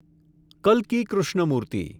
કલ્કી Krishnamurthy